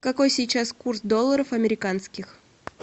какой сейчас курс долларов американских